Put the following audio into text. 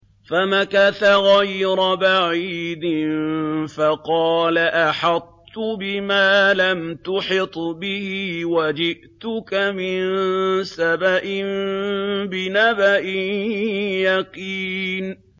فَمَكَثَ غَيْرَ بَعِيدٍ فَقَالَ أَحَطتُ بِمَا لَمْ تُحِطْ بِهِ وَجِئْتُكَ مِن سَبَإٍ بِنَبَإٍ يَقِينٍ